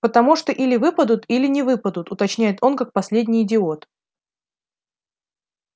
потому что или выпадут или не выпадут уточняет он как последний идиот